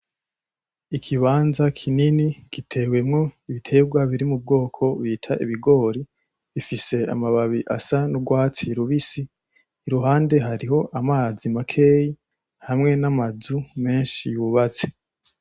Ikibanza kinini gitewemwo ibiterwa biri mu bwoko bita ibigori biifise amababi asa n'urwatsi rubisi, iruhande hariho amazi makeya hamwe n'amazu menshi yubatse.